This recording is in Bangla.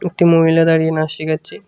একটি মহিলা দাঁড়িয়ে নাস শিখাচ্ছে।